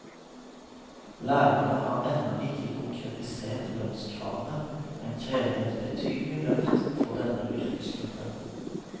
Lærerne har ennå ikke konkretisert lønnskravene, men krever et betydelig løft for denne yrkesgruppen.